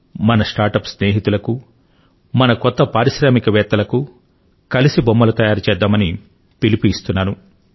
మన startup స్నేహితులకు మన నవ పారిశ్రామిక వేత్తలకు కలసి బొమ్మలు తయారు చేద్దామని పిలుపు ఇస్తున్నాను